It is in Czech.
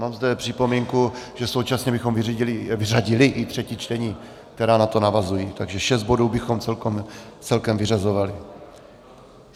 Mám zde připomínku, že současně bychom vyřadili i třetí čtení, která na to navazují, takže šest bodů bychom celkem vyřazovali.